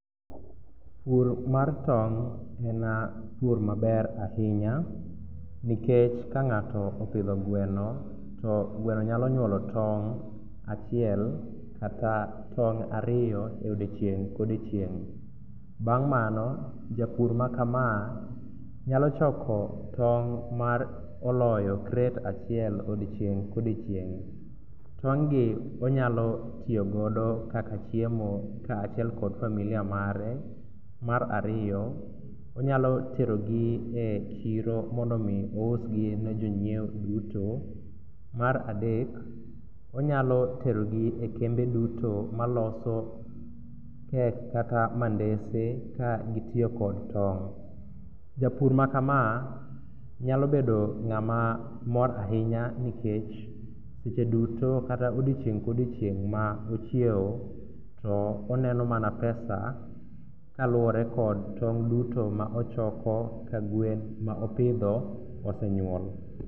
Pur mar tong' en pur maber ahinya nikech ka ng'ato opidho gweno to gweno nyalo nyuolo tong' achiel kata ariyo odiechieng' ka odiechieng'. Bang' mano japur makama nyalo choko tong' ma oloyo kret achiel odieng' ka odiechieng'. Tong' gi onyalo tiyo godo kaka chiemo kaachiel kod familia mare. Mar ariyo onyalo terogi e chiro mondo mi ousgi ne jonyiewo duto. Mar adek, onyalo terogi e kembe duto maloso kek kata mandese ka gitiyo kod tong'. Japur makama nyalo bedo ng'ama mor ahinya nikech seche duto kata odiechieng' ka odiechieng' ma ochiew to oneno mana pesa kaluwore kod tong' duto ma ochoko ka gwen ma opidho osenyuolo.